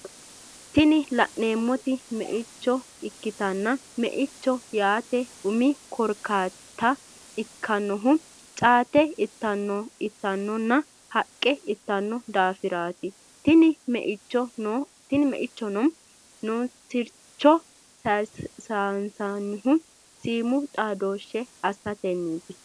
Tini lanemoti me’echo ikitana me’echo yate umi korikata ikinohu caate itanona haqqe itano dafirati tini me’echo no siricho sa’anohu simu xadoshshe asateniti